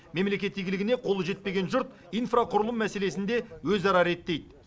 мемлекет игілігіне қолы жетпеген жұрт инфрақұрылым мәселесін де өзара реттейді